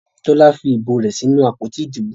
Tola nfí ìbò rẹ sí nù àpótí Ìdìbò.